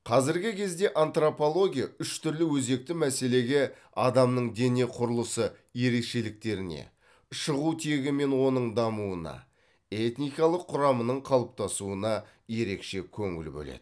қазіргі кезде антропология үш түрлі өзекті мәселеге адамның дене құрылысы ерекшеліктеріне шығу тегі мен оның дамуына этникалық құрамының қалыптасуына ерекше көңіл бөледі